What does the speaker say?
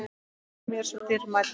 Björk var mér svo dýrmæt.